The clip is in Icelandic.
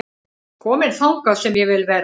Kominn þangað sem ég vil vera